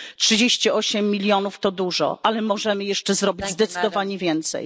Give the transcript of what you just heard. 38 milionów to dużo, ale możemy jeszcze zrobić zdecydowanie więcej.